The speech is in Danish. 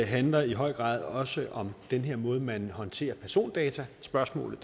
handler i høj grad også om den måde man håndterer persondataspørgsmålet